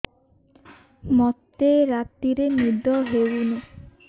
ମୋତେ ରାତିରେ ନିଦ ହେଉନି